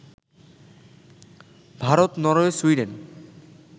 Bharat, Norway, Sweden